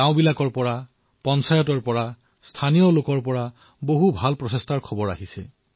গাঁৱৰ পৰা স্থানীয় নাগৰিকৰ গাঁও পঞ্চায়তৰ অনেক সুপ্ৰয়াস পোহৰলৈ আহিছে